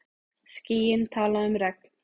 Skýin tala um regn.